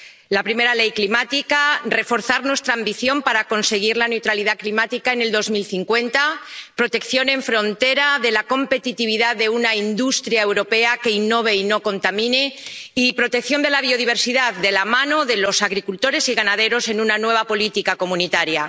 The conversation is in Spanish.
La primera ley climática, reforzar nuestra ambición para conseguir la neutralidad climática en 2050, protección en frontera de la competitividad de una industria europea que innove y no contamine y protección de la biodiversidad de la mano de los agricultores y ganaderos en una nueva política comunitaria.